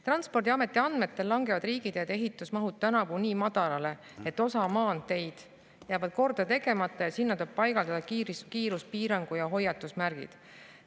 Transpordiameti andmetel langevad riigiteede ehitusmahud tänavu nii madalale, et osa maanteid jääb korda tegemata ja sinna tuleb paigaldada kiiruspiirangu- ja hoiatusmärgid.